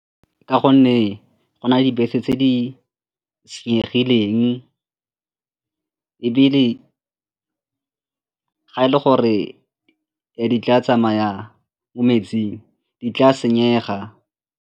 Ka gonne go na le dibese tse di senyegileng ebile ga e le gore ne di tla tsamaya mo metsing di tla senyega.